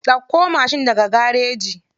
Ɗauko mashin daga garaji.